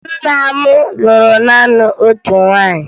Nna m lụrụ naanị otu nwaanyị